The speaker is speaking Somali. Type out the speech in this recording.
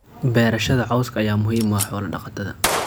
Beerashada cawska ayaa muhiim u ah xoolo-dhaqatada.